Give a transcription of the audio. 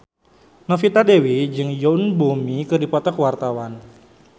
Novita Dewi jeung Yoon Bomi keur dipoto ku wartawan